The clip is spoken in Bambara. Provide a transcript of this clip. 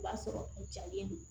O b'a sɔrɔ u jalen don